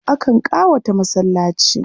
Akan ƙawata masallaci.